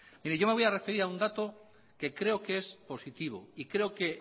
mire yo me voy a referir a un dato que creo que es positivo y creo que